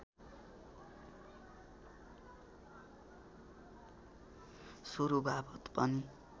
सुरुवात पनि